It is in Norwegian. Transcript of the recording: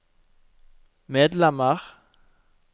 medlemmer